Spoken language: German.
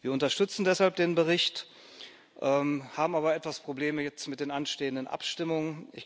Wir unterstützen deshalb den Bericht, haben aber etwas Probleme jetzt mit den anstehenden Abstimmungen.